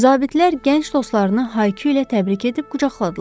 Zabitlər gənc dostlarını hay-küylə təbrik edib qucaqladılar.